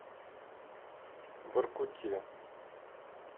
воркуте